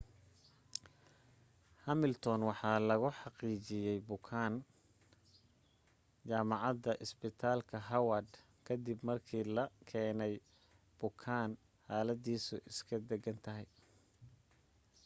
hamilton waxa lagu xaqiijiyey jamacada isbitaalka howard ka dib markii la keeney bukaan xaladiisu iska degan tahay